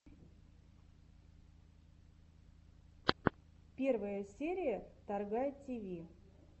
первая серия торгай тиви